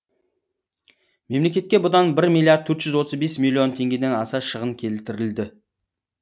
мемлекетке бұдан бір миллиард төрт жүз отыз бес миллион теңгеден аса шығын келтірілді